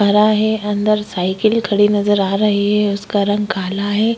हरा हैं अंदर साइकिल खड़ी नज़र आ रही हैं उसका रंग काला हैं।